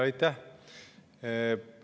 Aitäh!